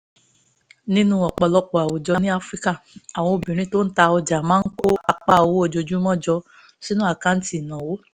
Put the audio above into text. nínú ọ̀pọ̀lọpọ̀ àwùjọ ní áfíríkà àwọn obìnrin tó ń ta ọjà máa kó apá owó ojoojúmọ́ jọ sínú àkáǹtì ìnáwó